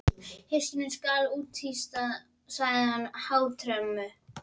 Hyskinu skal úthýst, sagði hún hatrömm.